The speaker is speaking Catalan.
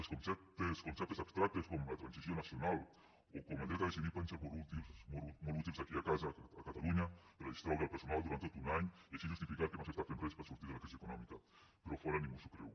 els conceptes abstractes com la transició nacional o com el dret a decidir poden ser molt útils aquí a casa a catalunya per a distreure el personal durant tot un any i així justificar que no s’està fent res per sortir de la crisi econòmica però a fora ningú s’ho creu